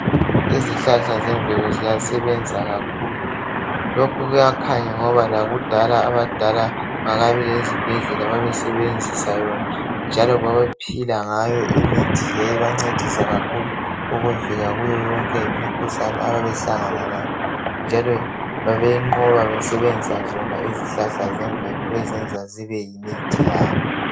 izihlahla zemvelo ziyasebenza kakhulu lokho kuyakhanya ngoba lakudala kungakabi lezibhedlela babesebenzisa yona njalo babephila ngayo imithi yayibancedisa kakhulu ukuvika kuyoyonke imikhuhlane ababebehlangana layo njalo babeyinqoba besebenzisa yona izihlahla zemvelo bezenza zibeyimithi yabo